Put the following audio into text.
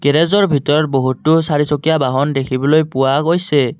গেৰেজৰ ভিতৰত বহুতো চাৰিচকীয়া বাহন দেখিবলৈ পোৱা গৈছে।